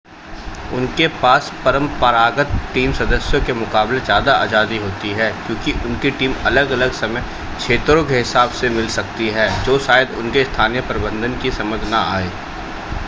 उनके पास परंपरागत टीम सदस्यों के मुकाबले ज़्यादा आज़ादी होती है क्योंकि उनकी टीमें अलग-अलग समय क्षेत्रों के हिसाब से मिल सकती हैं जो शायद उनके स्थानीय प्रबंधन की समझ न आए